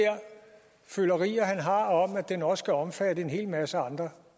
følerier han har om at den også skal omfatte en hel masse andre